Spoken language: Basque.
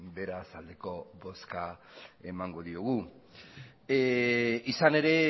beraz aldeko bozka emango diogu izan ere